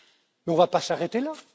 On ne va pas s'arrêter